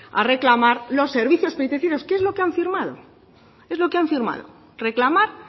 a reclamar los servicios penitenciarios que es lo que han firmado es lo que han firmado reclamar